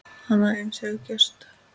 Annað eins hefur gerst!